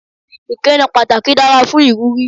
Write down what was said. Ìkíni pàtàkì dára fún ìwúrí.